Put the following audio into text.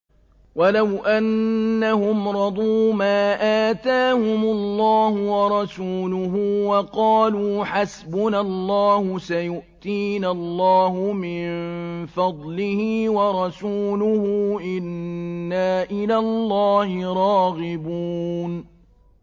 وَلَوْ أَنَّهُمْ رَضُوا مَا آتَاهُمُ اللَّهُ وَرَسُولُهُ وَقَالُوا حَسْبُنَا اللَّهُ سَيُؤْتِينَا اللَّهُ مِن فَضْلِهِ وَرَسُولُهُ إِنَّا إِلَى اللَّهِ رَاغِبُونَ